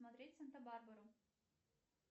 смотреть санта барбару